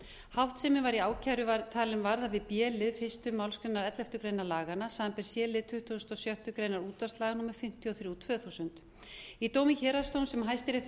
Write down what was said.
háttsemin var í ákæru talin varða við b lið fyrstu málsgrein elleftu grein laganna samanber c lið tuttugasta og sjöttu grein útvarpslaga númer fimmtíu og þrjú tvö þúsund í dómi héraðsdóms sem hæstiréttur